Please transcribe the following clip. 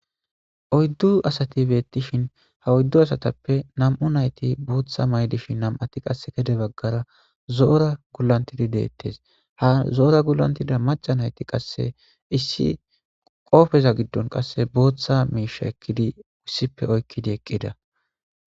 Oyddu asati beettishin ha oyddu asatappe nam'u nayti booththa maydishin nam'ati qasse kede baggara zoora gulantidi deettes ha zoora gulantida maca nayti qasse issi qoofeza giddon qasse booththa miisha ekkidi wussipe oykkidi eqqida.